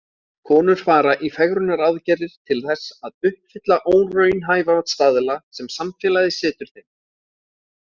Konur fara í fegrunaraðgerðir til þess að uppfylla óraunhæfa staðla sem samfélagið setur þeim.